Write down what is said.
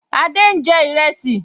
Adé n jẹ ìrẹsì